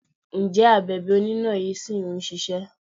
Ǹjẹ́ Abèbè oníná yí ṣì ń ṣisẹ́?